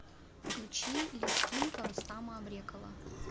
включи лезгинка рустама абрекова